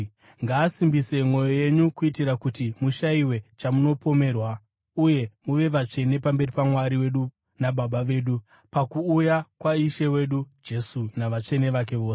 Ngaasimbise mwoyo yenyu kuitira kuti mushayiwe chamunopomerwa uye muve vatsvene pamberi paMwari wedu naBaba vedu, pakuuya kwaIshe wedu Jesu navatsvene vake vose.